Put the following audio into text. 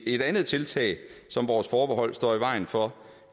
et andet tiltag som vores forbehold står i vejen for